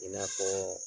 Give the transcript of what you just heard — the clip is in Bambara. I n'a fɔ